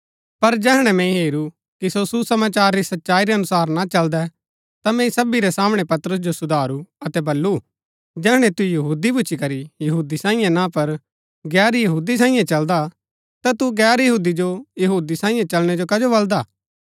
पर जैहणै मैंई हेरू कि सो सुसमाचार री सच्चाई रै अनुसार ना चलदै ता मैंई सबी रै सामणै पतरस जो सुधारू अतै बल्लू जैहणै तू यहूदी भूच्ची करी यहूदी सांईये ना पर गैर यहूदी सांईये चलदा ता तू गैर यहूदी जो यहूदी सांईये चलणै जो कजो बलदा